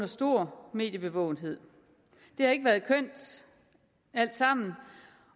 stor mediebevågenhed det har ikke været kønt alt sammen